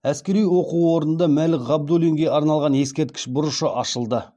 әскери оқу орнында мәлік ғабдуллинге арналған ескерткіш бұрышы ашылды